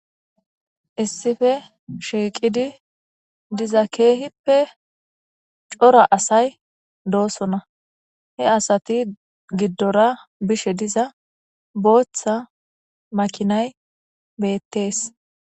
issife shiiqidi diza keehippe cora asay doosona he asati giddora bishe diza booththa makinay beettees